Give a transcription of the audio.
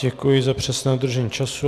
Děkuji za přesné dodržení času.